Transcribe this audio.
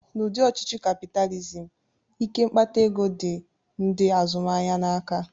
N'ụdị ọchịchị kapịtalizim, ike mkpata ego dị ndị azụmahịa n'aka